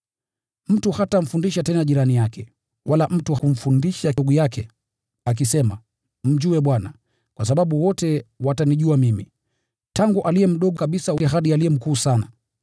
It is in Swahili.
Mtu hatamfundisha tena jirani yake, wala mtu kumfundisha ndugu yake akisema, ‘Mjue Bwana,’ kwa sababu wote watanijua mimi, tangu aliye mdogo kabisa kwao, hadi aliye mkuu sana.